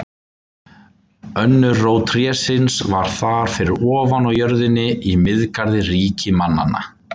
Önnur rót trésins var þar fyrir ofan, á jörðinni, í Miðgarði ríki mannanna.